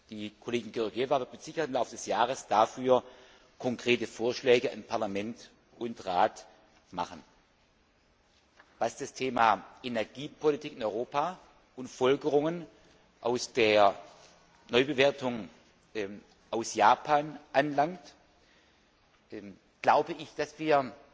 Die Kollegin Georgieva wird mit Sicherheit im Laufe des Jahres dafür konkrete Vorschläge an Parlament und Rat richten. Was das Thema Energiepolitik in Europa und Folgerungen aus der Neubewertung aus Japan anbelangt, glaube ich, dass